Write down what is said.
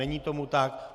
Není tomu tak.